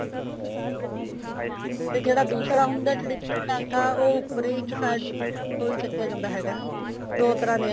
ਤੇ ਜਿਹੜਾ ਦੂਸਰਾ ਹੁੰਦਾ ਟਾਂਕਾ ਉਹ ਉੱਪਰ ਹੀ ਇੱਕ side ਤੋਂ ਚੱਕਿਆ ਜਾਂਦਾ ਹੈਗਾ ਦੋ ਤਰ੍ਹਾਂ ਦੀਆਂ